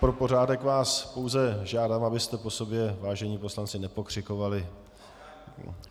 Pro pořádek vás pouze žádám, abyste po sobě, vážení poslanci, nepokřikovali.